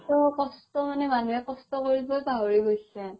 কষ্ট মানে মানুহে কষ্ট কৰিবয়ে পাহৰি গৈছে